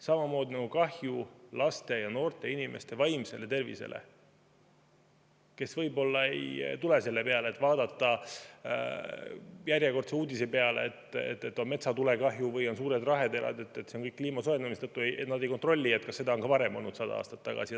Samamoodi nagu kahju laste ja noorte inimeste vaimsele tervisele, kes võib-olla ei tule selle peale, et järjekordset uudist, et on metsatulekahju või on suured raheterad ja see on kõik kliimasoojenemise tõttu, tuleks kontrollida, järele vaadata, kas seda on ka varem olnud, näiteks sada aastat tagasi.